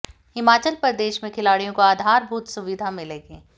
हिमाचल प्रदेश में खिलाडि़यों को आधार भूत सुविधा मिलेगी